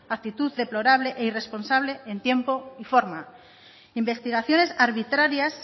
actitud deplorable e irresponsable en tiempo y forma investigaciones arbitrarias